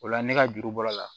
O la ne ka juru bɔr'o la